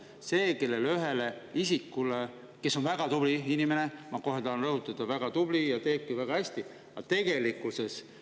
See üks isik, kes on väga tubli inimene – ma kohe tahan rõhutada, et ta on väga tubli ja teebki seda väga hästi –,.